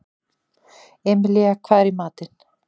Emilía, hvað er í matinn?